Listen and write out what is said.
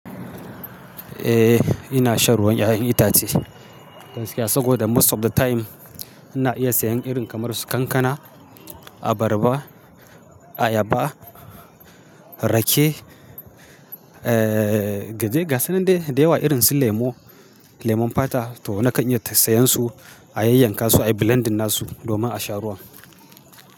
Eh, ina shan ruwan 'ya'yan itace gaskiya saboda most of the time ina iya seyan irin kamar su kankana, abarba, ayaba, rake, eh, gasu nan dai da yewa irin su lemo, lemon fata to nakan iya seyan su, ayai yankan su, ayi blending na su domin a sha ruwan.